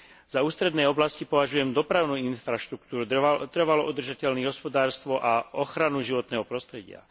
Za ústredné oblasti považujem dopravnú infraštruktúru, trvalo udržateľné hospodárstvo a ochranu životného prostredia.